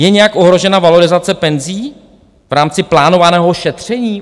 Je nějak ohrožena valorizace penzí v rámci plánovaného šetření?